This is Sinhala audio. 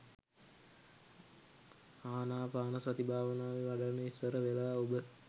ආනාපානසති භාවනාව වඩන්න ඉස්සර වෙලා ඔබ